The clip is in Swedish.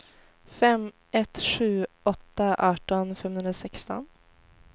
fem ett sju åtta arton femhundrasexton